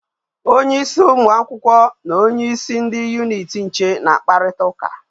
Onye isi umu akwukwo na onye isi ndi unit nche na akparita uka